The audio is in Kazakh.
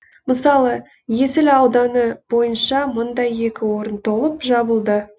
мысалы есіл ауданы бойынша мұндай екі орын толып жабылды